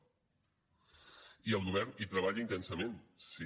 i el govern hi treballa intensament sí